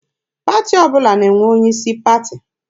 Pati ọbụla na-enwe onye isi pati.